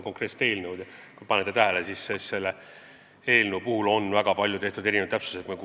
Küllap te olete tähele pannud, et selles eelnõus on tehtud väga palju täpsustusi.